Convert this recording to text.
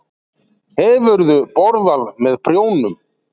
Hefurðu borðað með prjónum?